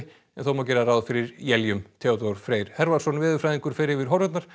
en þó má gera ráð fyrir éljum Theodór Freyr veðurfræðingur fer yfir horfurnar